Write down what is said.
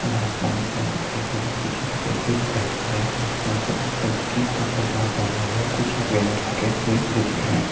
अन आसमान जा दिखाई दे रहा है पीछे से पेड़ भी दिखाई दे रहे है लड़को ने सफ़ेद कलर के कपड़े जहा पहने हुए है और कुछ यहाँ बैनर लगे हुए है जे दिख रहा है।